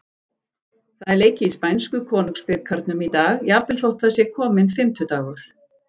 Það er leikið í spænsku Konungsbikarnum í dag, jafnvel þótt það sé kominn fimmtudagur.